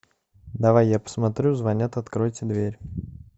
давай я посмотрю звонят откройте дверь